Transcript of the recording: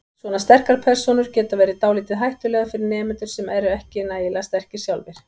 Svona sterkar persónur geti verið dálítið hættulegar fyrir nemendur sem ekki eru nægilega sterkir sjálfir.